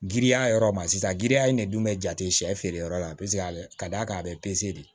Giriya yɔrɔ ma sisan giriya in de dun be jate sɛ feere yɔrɔ la paseke ka d'a ka a be pese de